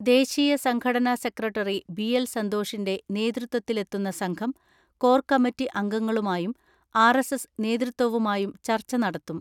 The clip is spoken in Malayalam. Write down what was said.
ദേശീയ സംഘടനാ സെക്രട്ടറി ബി.എൽ സന്തോ ഷിന്റെ നേതൃത്വത്തിലെത്തുന്ന സംഘം കോർ കമ്മറ്റി അംഗങ്ങ ളുമായും ആർ.എസ്.എസ് നേതൃത്വവുമായും ചർച്ച നടത്തും.